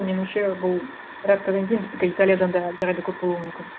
меніңше бұл бір аптадан кейін біздікі италиядан да әлдеқайда көп болуы мүмкін